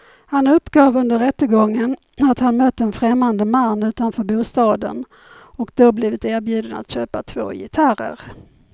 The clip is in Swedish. Han uppgav under rättegången att han mött en främmande man utanför bostaden och då blivit erbjuden att köpa två gitarrer.